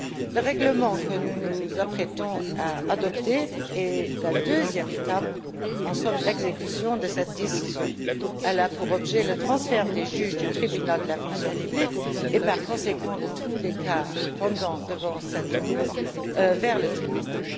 Le règlement que nous nous apprêtons à adopter est la deuxième étape en somme, l'exécution de cette décision. Elle a pour objet le transfert des juges du Tribunal de la fonction publique et, par conséquent, de toutes les affaires pendantes devant cette cour vers le Tribunal.